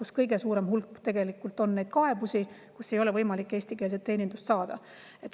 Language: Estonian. Seal on tegelikult kõige suurem hulk neid kaebusi, et ei ole võimalik eestikeelset teenindust saada.